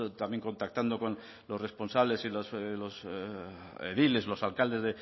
también contactando con los responsables los ediles los alcaldes